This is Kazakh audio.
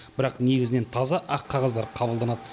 бірақ негізінен таза ақ қағаздар қабылданады